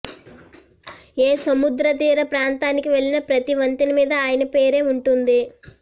ఏ సముద్ర తీర ప్రాంతానికి వెళ్ళినా ప్రతి వంతెన మీద ఆయన పేరే ఉంటుంది